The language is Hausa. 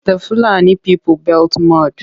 The Fulani people built mud.